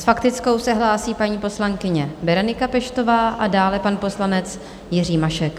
S faktickou se hlásí paní poslankyně Berenika Peštová a dále pan poslanec Jiří Mašek.